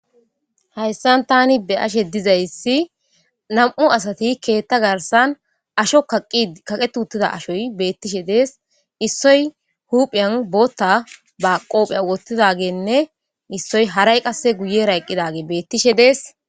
hayssan tani be ashe dizayssi nam7u asati keetta garsan asho kaqe tuuttida ashoy beettishe dees issoy huphiyan bootta ba qoophey ogottidagenne issoy haray qasse guye ra eqqidage beettishe dees